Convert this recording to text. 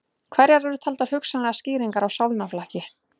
Hverjar eru taldar hugsanlegar skýringar á sálnaflakki?